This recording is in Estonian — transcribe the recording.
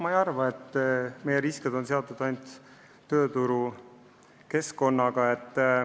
Ma ei arva, et meie riskid on seotud ainult tööturu valdkonnaga.